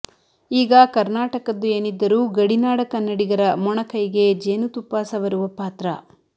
ಈಗ ಕರ್ನಾಟಕದ್ದು ಏನಿದ್ದರೂ ಗಡಿನಾಡ ಕನ್ನಡಿಗರ ಮೊಣಕೈಗೆ ಜೇನುತುಪ್ಪ ಸವರುವ ಪಾತ್ರ